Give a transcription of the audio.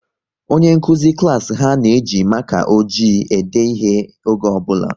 Onye nkụzi klas ha na-eji maka ojii ede ihe oge ọ bụla